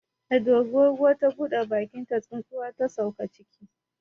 Da dorinar ruwa ta buɗe bakinta, tsuntsuwa ta sauka ciki.